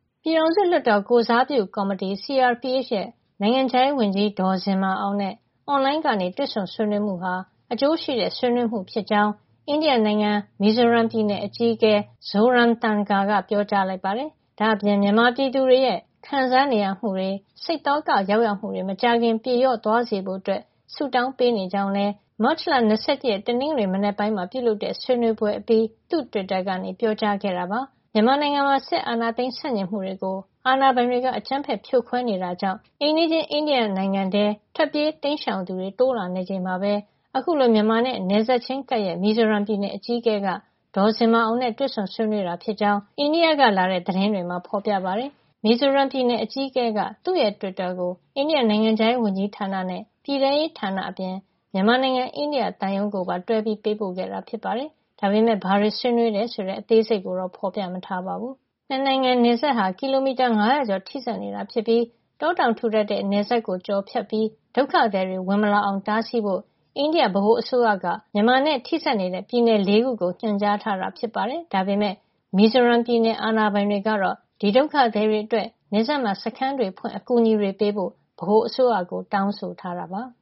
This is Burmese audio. ပြည်ထောင်စုလွှတ်တော်ကိုယ်စားပြုကော်မတီ CRPH ရဲ့ နိုင်ငံခြားရေးဝန်ကြီး ဒေါ်ဇင်မာအောင်နဲ့ အွန်လိုင်းကနေ တွေ့ဆုံဆွေးနွေးမှုဟာ အကျိုးရှိတဲ့ ဆွေးနွေးမှုဖြစ်ကြောင်း အိန္ဒိယနိုင်ငံ မီဇိုရမ်ပြည်နယ် အကြီးအကဲ Zoramthanga က ပြောကြားလိုက်ပါတယ်။ ဒါ့အပြင် မြန်မာပြည်သူတွေရဲ့ ခံစားနေရမှုတွေ စိတ်သောကရောက်ရမှုတွေ မကြာခင်ပြေလျော့သွားစေဖို့ ဆုတောင်းပေးနေကြောင်းလည်း မတ်လ ၂၁ ရက် တနင်္ဂနွေနေ့ မနက်ပိုင်းမှာ ပြုလုပ်တဲ့ အွန်လိုင်း ဆွေးနွေးပွဲအပြီး သူ့တွစ်တာကနေ ပြောကြားခဲ့တာပါ။ မြန်မာနိုင်ငံမှာ စစ်အာဏာသိမ်းဆန့်ကျင်မှုတွေကို အာဏာပိုင်တွေက အကြမ်းဖက်ဖြိုခွဲနေတာကြောင့် အိမ်နီးချင်း အိန္ဒိယ နိုင်ငံထဲကို ထွက်ပြေးတိမ်းရှောင်သူတွေ တိုးလာနေချိန်မှာပဲ အခုလို မြန်မာနဲ့နယ်စပ်ချင်းကပ်ရက် မီဇိုရမ်ပြည်နယ်အကြီးအကဲက ဒေါ်ဇင်မာအောင်နဲ့ တွေ့ဆုံဆွေးနွေးခဲ့တာ ဖြစ်ကြောင်း အိန္ဒိယကလာတဲ့ သတင်းတွေမှာ ဖေါ်ပြထားပါတယ်။ မီဇိုရမ်ပြည်နယ်အကြီးအကဲက သူ့ရဲ့တွစ်တာကို အိန္ဒိယနိုင်ငံခြားရေးဝန်ကြီးဌာန ပြည်ထဲရေးဌာနအပြင် မြန်မာနိုင်ငံ အိန္ဒိယသံရုံးကိုပါ တွဲပြီး ပို့ပေးခဲ့တာ ဖြစ်ပါတယ်။ ဒါပေမယ့် ဘာတွေ ဆွေးနွေးတယ်ဆိုတဲ့ အသေးစိတ်ကိုတော့ ဖေါ်ပြမထားပါဘူး။ အိန္ဒိယမြန်မာ ၂ နိုင်ငံနယ်စပ်ဟာ ကီလိုမီတာ ၅၀၀ ကျော်ထိစပ်နေတာ ဖြစ်ပြီး တောတောင်ထူထပ်တဲ့ နယ်စပ်ကို ကျော်ဖြတ်ပြီး ဒုက္ခသည်တွေ ဝင်မလာအောင် တားဆီးဖို့ အိန္ဒိယဗဟိုအစိုးရက မြန်မာနိုင်ငံနဲ့ ထိစပ်နေတဲ့ ပြည်နယ် ၄ ခုကို ညွှန်ကြားထားတာ ဖြစ်ပါတယ်။ ဒါပေမယ့် မီဇိုရမ်ပြည်နယ် အာဏာပိုင်တွေကတော့ ဒီဒုက္ခသည်တွေအတွက် နယ်စပ်မှာ စခန်းတွေဖွင့်အကူညီတွေ ပေးဖို့ ဗဟိုအစိုးရကို တောင်းဆိုထားတပါ